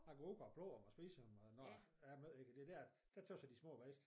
Jeg går ud bare plukker dem og spiser dem og når ja jeg ved ikke det dér der tøs jeg de smager bedst